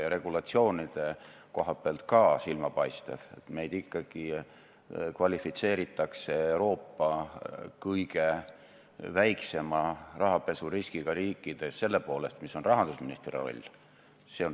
Ja muidugi Jüri Ratas, kes ei liigutanud lillegi, et öelda, et kuulge, lõpetage ära, tegelikult lahendas Eesti selle probleemi juba aastaid tagasi – valdavas osas.